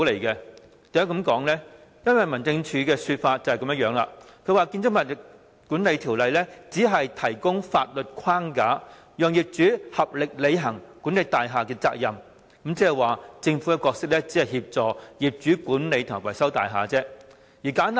因為根據民政事務總署的說法，《條例》只提供法律框架，讓業主合力履行管理大廈的責任，即是說政府只擔當協助業主管理和維修大廈的角色。